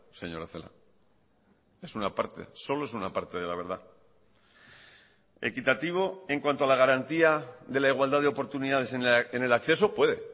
señora celaá es una parte solo es una parte de la verdad equitativo en cuanto a la garantía de la igualdad de oportunidades en el acceso puede